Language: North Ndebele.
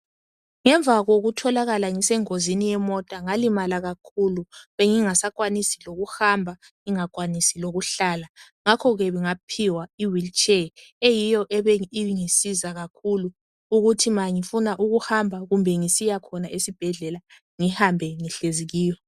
Ngemva kokutholakala ngisengozini yemota, ngalimala kakhulu bengingasakwanisi lokuhamba, ngingakwanisi lokuhlala ngakho ke ngaphiwa iwilitshe eyiyo ke ebingisiza kakhulu ukuthi ma ngifuna ukuhamba kumbe ngisiyakhona esibhedlela ngihambe ngihlezi kiyo.